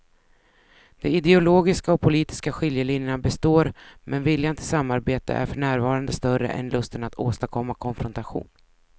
De ideologiska och politiska skiljelinjerna består men viljan till samarbete är för närvarande större än lusten att åstadkomma konfrontation.